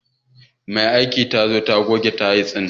Mai aikin ta so ta goge baƙin tayil ɗin.